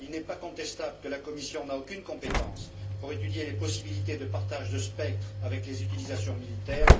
Il n'est pas contestable que la Commission n'a aucune compétence pour étudier les possibilités de partage de spectres avec les utilisations militaires.